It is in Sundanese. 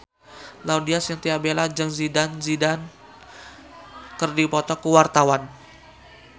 Laudya Chintya Bella jeung Zidane Zidane keur dipoto ku wartawan